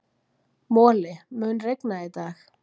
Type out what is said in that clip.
Moli, mun rigna í dag?